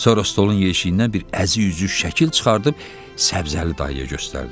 Sonra stolun yeşiyindən bir əzik-üzük şəkil çıxardıb Səbzəli dayıya göstərdi.